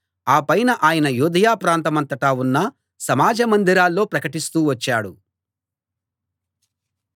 ఆపైన ఆయన యూదయ ప్రాంతమంతటా ఉన్న సమాజ మందిరాల్లో ప్రకటిస్తూ వచ్చాడు